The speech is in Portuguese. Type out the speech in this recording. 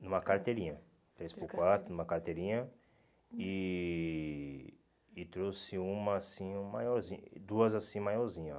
Numa carteirinha, três por quatro numa carteirinha e e trouxe uma assim maiorzin, duas assim maiorzinha.